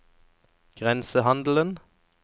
grensehandelen